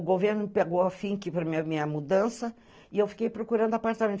O governo pegou a finca para a minha mudança e eu fiquei procurando apartamento.